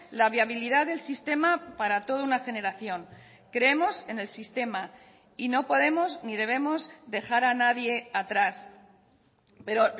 la viabilidad del sistema para toda una generación creemos en el sistema y no podemos ni debemos dejar a nadie atrás pero